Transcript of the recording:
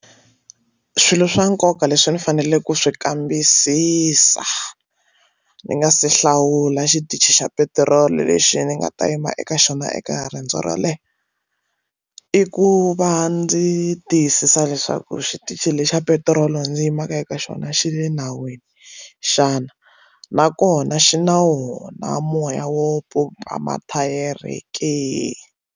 Swilo swa nkoka leswi ni faneleke ku swi kambisisa ni nga si hlawula xitichi xa petirolo lexi ni nga ta yima eka xona eka riendzo ro yaleyo i ku va ndzi tiyisisa leswaku xitichi lexi xa petirolo ndzi yimaka eka xona xi le nawini xana nakona xi na wona moya wo pompa mathayere ke.